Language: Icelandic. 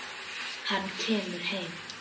Hann kemur heim.